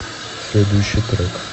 следующий трек